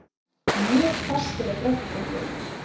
Mjög hvasst er á Bröttubrekku